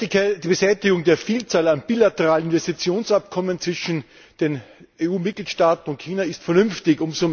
Die Beseitigung der Vielzahl an bilateralen Investitionsabkommen zwischen den EU Mitgliedstaaten und China ist vernünftig.